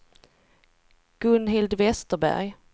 Gunhild Vesterberg